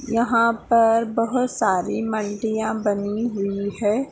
यहा पर बहुत सारी बनी हुई है।